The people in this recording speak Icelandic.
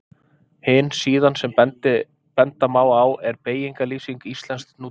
Hin síðan sem benda má á er Beygingarlýsing íslensks nútímamáls.